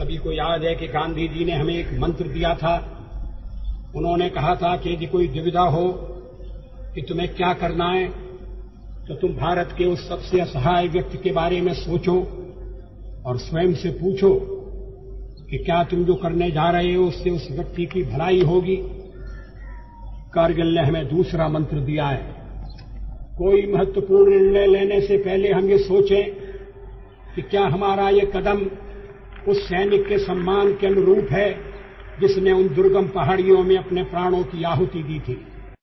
ਸਾਨੂੰ ਸਾਰਿਆਂ ਨੂੰ ਯਾਦ ਹੈ ਕਿ ਗਾਂਧੀ ਜੀ ਨੇ ਸਾਨੂੰ ਇੱਕ ਮੰਤਰ ਦਿੱਤਾ ਸੀ ਉਨ੍ਹਾਂ ਨੇ ਕਿਹਾ ਸੀ ਕਿ ਜੇਕਰ ਕੋਈ ਦੁਵਿਧਾ ਹੋਵੇ ਕਿ ਤੁਸੀਂ ਕੀ ਕਰਨਾ ਹੈ ਤਾਂ ਤੁਸੀਂ ਭਾਰਤ ਦੇ ਉਸ ਸਭ ਤੋਂ ਬੇਸਹਾਰਾ ਵਿਅਕਤੀ ਦੇ ਬਾਰੇ ਸੋਚੋ ਅਤੇ ਆਪਣੇ ਆਪ ਨੂੰ ਪੁੱਛੋ ਕਿ ਕੀ ਤੁਸੀਂ ਜੋ ਕਰਨ ਜਾ ਰਹੇ ਹੋ ਉਸ ਨਾਲ ਉਸ ਵਿਅਕਤੀ ਦੀ ਭਲਾਈ ਹੋਵੇਗੀ ਕਾਰਗਿਲ ਨੇ ਸਾਨੂੰ ਦੂਸਰਾ ਮੰਤਰ ਦਿੱਤਾ ਹੈ ਕੋਈ ਮਹੱਤਵਪੂਰਣ ਫੈਸਲਾ ਕਰਨ ਤੋਂ ਪਹਿਲਾਂ ਅਸੀਂ ਇਹ ਸੋਚੀਏ ਕਿ ਕੀ ਸਾਡਾ ਇਹ ਕਦਮ ਉਸ ਸੈਨਿਕ ਦੇ ਸਨਮਾਨ ਦੇ ਅਨੁਰੂਪ ਹੈ ਜਿਸ ਨੇ ਉਨ੍ਹਾਂ ਦੁਰਗਮ ਪਹਾੜੀਆਂ ਵਿੱਚ ਆਪਣੇ ਪ੍ਰਾਣਾਂ ਦੀ ਬਲੀ ਦੇ ਦਿੱਤੀ ਸੀ